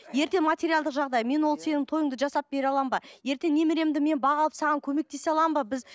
ертең материалдық жағдай мен ол сенің тойыңды жасап бере аламын ба ертең немеремді мен баға алып саған көмек тесе аламын ба біз